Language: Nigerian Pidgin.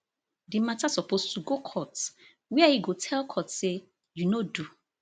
di mata suppose to go court wia e go tell court say you no do